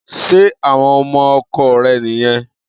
Ṣé àwọn ọmọ ọkọ rẹ̀ nìyẹn?